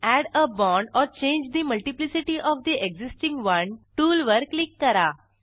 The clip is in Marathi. add a bond or change the multiplicity of the existing one tool वर क्लिक करा